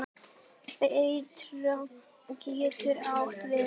Birta getur átt við